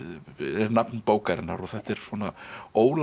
nafn bókarinnar og þetta er